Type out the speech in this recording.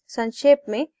संक्षेप में